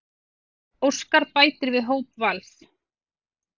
Óskar bætir við hóp Vals